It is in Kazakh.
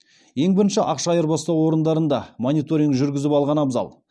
ең бірінші ақша айырбастау орындарында мониторинг жүргізіп алған абзал